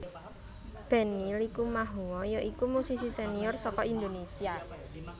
Benny Likumahuwa ya iku musisi senior saka Indonésia